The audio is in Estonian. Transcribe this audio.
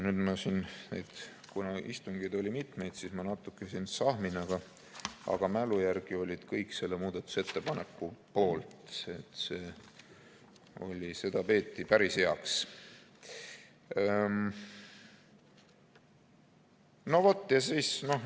Kuna neid istungeid oli mitmeid, siis ma natuke siin sahmin, aga mälu järgi olid kõik selle muudatusettepaneku poolt, seda peeti päris heaks.